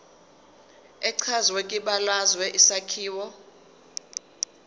echazwe kwibalazwe isakhiwo